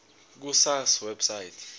ku sars website